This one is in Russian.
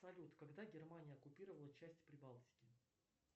салют когда германия оккупировала часть прибалтики